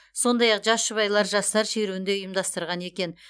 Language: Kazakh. сондай ақ жас жұбайлар жастар шеруін де ұйымдастырған екен